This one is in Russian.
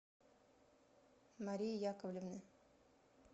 марии яковлевны